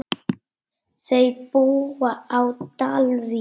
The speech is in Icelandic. Þau búa á Dalvík.